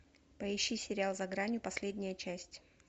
поищи сериал за гранью последняя часть